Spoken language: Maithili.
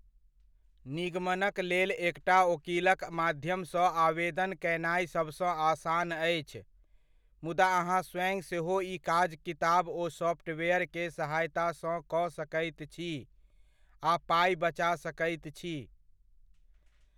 निगमनक लेल एकटा ओकीलक माध्यमसँ आवेदन कयनाय सबसँ आसान अछि, मुदा अहाँ स्वयं सेहो ई काज किताब ओ सॉफ्टवेयरके सहायतासँ कऽ सकैत छी आ पाइ बचा सकैत छी।